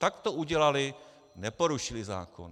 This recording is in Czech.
Tak to udělali, neporušili zákon.